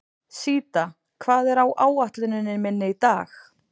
Síta, hvað er á áætluninni minni í dag?